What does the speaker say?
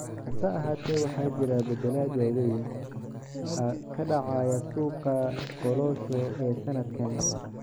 Hase ahaatee, waxaa jira beddelad waaweyn ka dhacaya suuqa kolosho ee sanadkan.